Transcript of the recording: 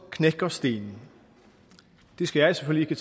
knækker stenen det skal jeg selvfølgelig